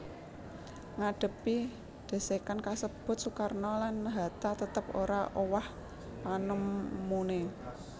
Ngadhepi dhesekan kasebut Soekarno lan Hatta tetep ora owah panemuné